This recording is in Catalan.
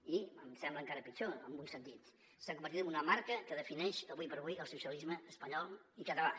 i em sembla encara pitjor en un sentit s’ha convertit en una marca que defineix ara com ara el socialisme espanyol i català